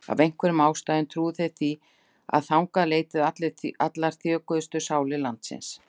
Af einhverjum ástæðum trúðu þeir því að þangað leituðu allar þjökuðustu sálir landsins.